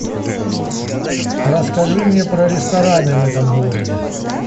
расскажи мне про рестораны в этом городе